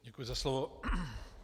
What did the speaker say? Děkuji za slovo.